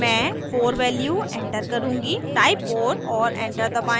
मैं 4 value enter करुँगी type 4 और एंटर दबाएं